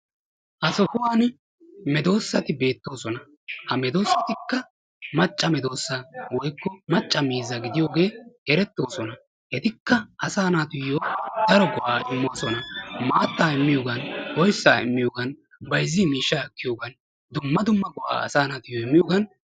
ha sohuwani medoosati beetoosona. medoosatikka macca miizzaa gidiyoge eretees. etikka asaa naatuyoo daro go'aa immosona. maatta, oyssaa, pilaa immiyogan go'ees.